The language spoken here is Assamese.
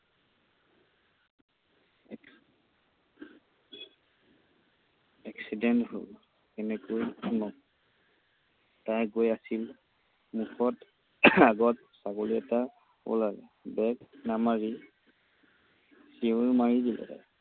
Accident হ'ল, কেনেকৈ শুনক। তাই গৈ আছিল। মুখত আগত ছাগলী এটা ওলালে। Back নামাৰি চিঞৰ মাৰি দিলে।